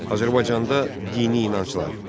Azərbaycanda dini inanclar.